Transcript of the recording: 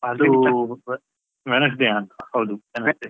ಅದೂ Wednesday ಯಾ ಅಂತ, ಹೌದು Wednesday .